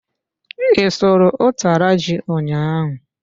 I sụrụ utara ji ụnyaahụ?